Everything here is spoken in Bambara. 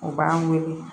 O b'an wele